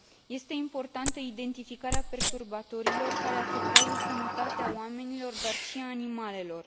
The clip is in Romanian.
Este importantă identificarea perturbatorilor care afectează sănătatea oamenilor, dar și a animalelor.